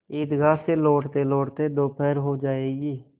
ईदगाह से लौटतेलौटते दोपहर हो जाएगी